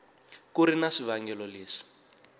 ku ri na swivangelo leswi